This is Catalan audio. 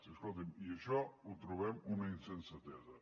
i escolti’m això ho trobem una insensatesa